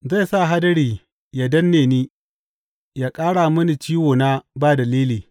Zai sa hadari yă danne ni yă ƙara mini ciwona ba dalili.